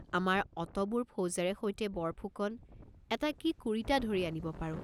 আমাৰ অতবোৰ ফৌজেৰে সৈতে বৰফুকন এটা কি কুৰিটা ধৰি আনিব পাৰোঁ।